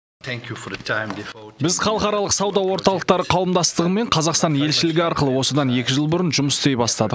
біз халықаралық сауда орталықтары қауымдастығымен қазақстан елшілігі арқылы осыдан екі жыл бұрын жұмыс істей бастадық